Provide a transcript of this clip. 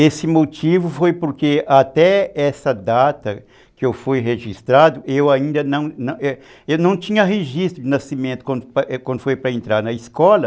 Esse motivo foi porque até essa data que eu fui registrado, eu ainda não tinha registro de nascimento quando foi para entrar na escola.